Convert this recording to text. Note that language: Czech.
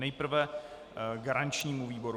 Nejprve garančnímu výboru.